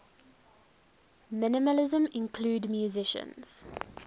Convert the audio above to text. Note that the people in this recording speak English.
minimalism include musicians